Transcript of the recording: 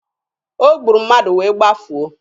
O gburu mmadụ wee gbafuo.